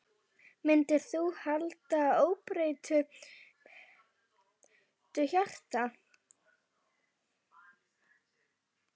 Myndir þú halda óbreyttu byrjunarliði?